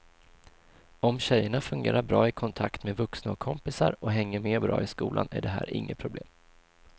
Om tjejerna fungerar bra i kontakt med vuxna och kompisar och hänger med bra i skolan är det här inget problem.